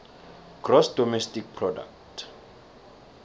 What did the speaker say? gross domestic product